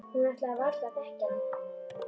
Hún ætlaði varla að þekkja hana.